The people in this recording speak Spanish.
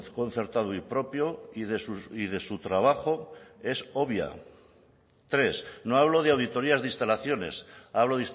concertado y propio y de su trabajo es obvia tres no hablo de auditorías de instalaciones hablo